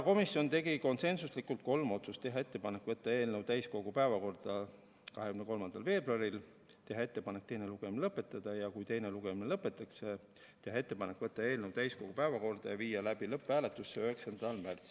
Komisjon tegi konsensuslikult kolm otsust: teha ettepanek võtta eelnõu täiskogu päevakorda 23. veebruariks, teha ettepanek teine lugemine lõpetada ja kui teine lugemine lõpetatakse, teha ettepanek võtta eelnõu täiskogu päevakorda 9. märtsiks ja viia läbi lõpphääletus.